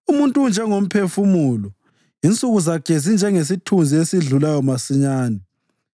Umuntu unjengomphefumulo; insuku zakhe zinjengesithunzi esidlulayo masinyane.